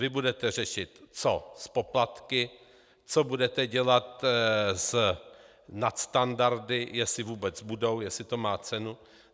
Vy budete řešit, co s poplatky, co budete dělat s nadstandardy, jestli vůbec budou, jestli to má cenu.